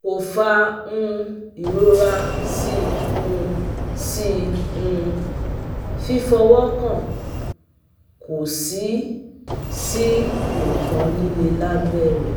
Ko fa um irora si um si um fifowokan ko si si um ikan lile labere